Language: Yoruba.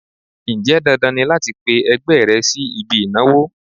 Ǹjẹ́ dandan ni láti pe ẹgbẹ́ rẹ sí ibi ìnáwó?